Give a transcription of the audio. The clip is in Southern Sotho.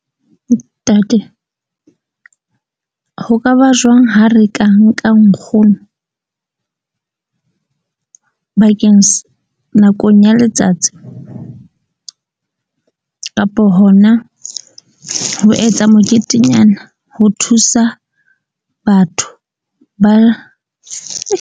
Ntate ho kaba jwang ha re ka nka nkgono bakeng nakong ya letsatsi tseo kapo hona ho etsa moketenyana ho thusa batho ba .